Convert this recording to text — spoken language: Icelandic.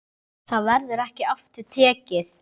Það verður ekki aftur tekið.